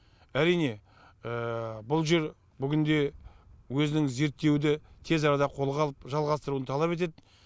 әрине бұл жер бүгінде өзінің зерттеуді тез арада қолға алып жалғастыруын талап етеді